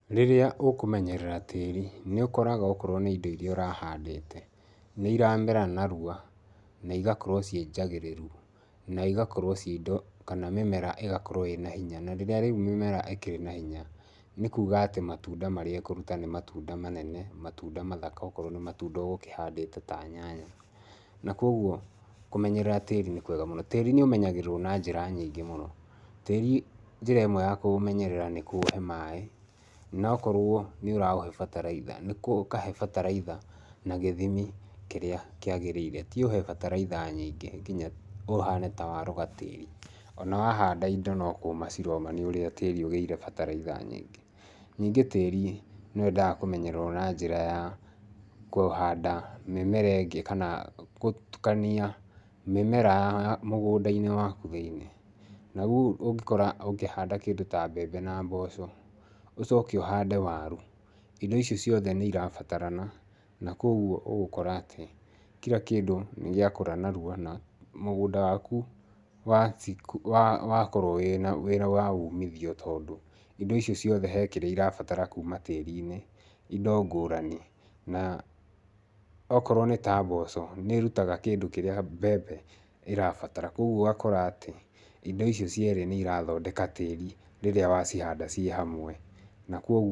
Rĩrĩa ũkũmenyerera tĩĩri nĩ ũkoraga okorwo nĩ indo irĩa ũrahandĩte, nĩ iramera narua na igakorwo ciĩ njagĩrĩru. Na igakorwo ci indo, kana mĩmera ĩgakorwo ĩna hinya na rĩrĩa rĩu mĩmera ĩkĩrĩ na hinya nĩ kuuga atĩ matunda marĩa ĩkũruta nĩ matunda manene, matunda mathaka, okorwo nĩ matunda ũgũkĩhandĩte ta nyanya. Na koguo kũmenyerera tĩri nĩ kwega mũno. Tĩri nĩ ũmenyagĩrĩrwo na njĩra nyingĩ mũno. Tĩri njĩra ĩmwe ya kũũmenyerera nĩ kũũhe maĩ, na akorwo nĩ ũraũhe bataraitha, ũkahe bataraitha na gĩthimi kĩrĩa kĩagĩrĩire. Ti ũhe bataraitha nyingĩ nginya ũhane ta waroga tĩri, ona wahanda indo no kũũma ciroma nĩ ũrĩa tĩri ũgĩire bataraitha nyingĩ. Ningĩ tĩri nĩ wendaga kũmenyererwo na njĩra ya kũhanda mĩmera ĩngĩ kana gũtukania mĩmera mũgũnda-inĩ waku thĩinĩ. Na rĩu ũngĩkora ũngĩhanda kĩndũ ta mbembe na mboco, ũcoke ũhande waru, indo icio ciothe nĩ irabatarana. Na koguo ũgũkora atĩ kila kĩndũ nĩ gĩakũra narua na mũgũnda waku wakorwo wĩna wĩra wa umithio, tondũ indo icio ciothe he kĩrĩa cirabatara kuuma tĩrĩ-inĩ, indo ngũrani. Na okorwo nĩ ta mboco nĩ ĩrutaga kĩndũ kĩrĩa mbembe ĩrabatara, koguo ũgakora atĩ indo icio cierĩ nĩ irathondeka tĩri rĩrĩa wacihanda ciĩ hamwe.